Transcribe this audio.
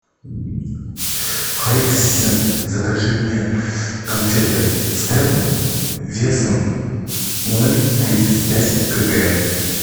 хай ассистент закажи мне конфеты степ весом ноль тридцать пять кг